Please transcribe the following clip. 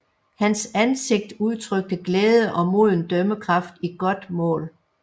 Hans ansigt udtrykte glæde og moden dømmekraft i godt mål